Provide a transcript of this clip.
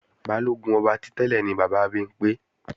Balógun ọba ti tẹ́lẹ̀ ni bàbá Bimpé